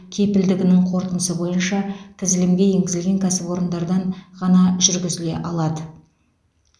кепілдігінің қорытындысы бойынша тізілімге енгізілген кәсіпорындардан ғана жүргізіле алады